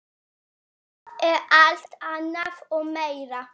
Það er alt annað og meira.